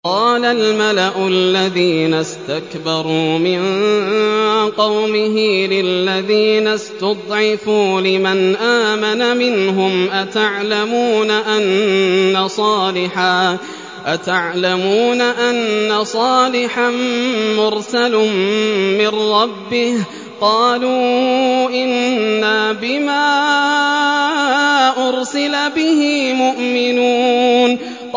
قَالَ الْمَلَأُ الَّذِينَ اسْتَكْبَرُوا مِن قَوْمِهِ لِلَّذِينَ اسْتُضْعِفُوا لِمَنْ آمَنَ مِنْهُمْ أَتَعْلَمُونَ أَنَّ صَالِحًا مُّرْسَلٌ مِّن رَّبِّهِ ۚ قَالُوا إِنَّا بِمَا أُرْسِلَ بِهِ مُؤْمِنُونَ